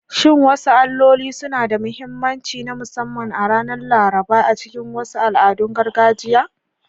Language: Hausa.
Shin wasu alloli suna da mahimmanci na musamman a ranar Laraba a cikin wasu al'adun gargajiya?